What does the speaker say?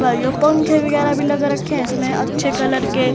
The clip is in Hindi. भाईयों पंखे वगैरा भी लग रखे हैं इसमें अच्छे कलर के--